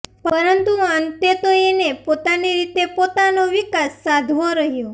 પરંતુ અંતે તો એને પોતાની રીતે પોતાનો વિકાસ સાધવો રહ્યો